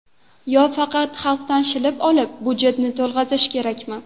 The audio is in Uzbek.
Yo faqat xalqdan shilib olib, budjetni to‘lg‘azish kerakmi?..